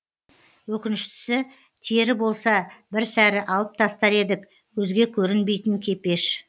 өкініштісі тері болса бір сәрі алып тастар едік көзге көрінбейтін кепеш